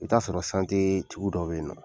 I bɛ t'a sɔrɔ tigi dɔ bɛ ye nɔ.